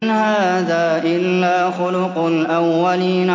إِنْ هَٰذَا إِلَّا خُلُقُ الْأَوَّلِينَ